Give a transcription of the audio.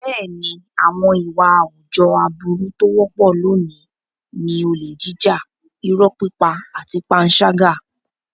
Bẹ́ẹ̀ni, àwọn ìwà àwùjọ aburú tó wọ́pọ̀ lónìí ni olè jíjà, irọ́ pípa àti panṣágà.